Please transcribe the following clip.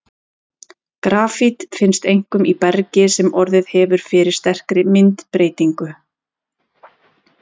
Grafít finnst einkum í bergi sem orðið hefur fyrir sterkri myndbreytingu.